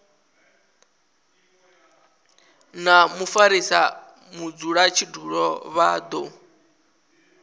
na mufarisa mudzulatshidulo vha do